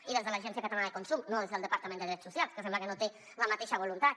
i des de l’agència catalana del consum no des del departament de drets socials que sembla que no té la mateixa voluntat